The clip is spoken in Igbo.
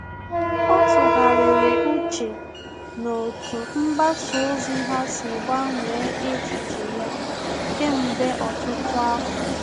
Ọ́ tụ́ghàrị̀rị̀ úchè n’otú mgbasa ozi ọha sí gbanwee echiche ya kèmgbe ọtụ́tụ́ afọ.